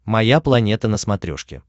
моя планета на смотрешке